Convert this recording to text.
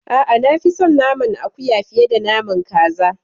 A'a, na fi son naman akuya fiye da naman kaza.